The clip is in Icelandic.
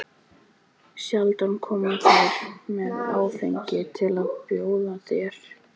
Sjaldan koma þeir með áfengi til að bjóða þér.